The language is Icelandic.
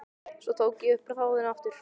Svo tók ég upp þráðinn aftur.